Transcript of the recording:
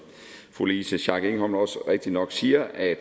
fru louise schack elholm også rigtigt nok siger at